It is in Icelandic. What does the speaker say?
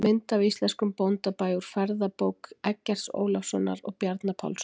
Mynd af íslenskum bóndabæ úr ferðabók Eggerts Ólafssonar og Bjarna Pálssonar.